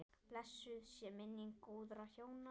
Blessuð sé minning góðra hjóna.